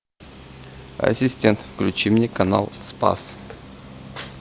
ассистент включи мне канал спас